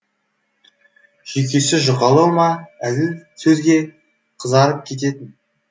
жүйкесі жұқалау ма әзіл сөзге қызарып кететін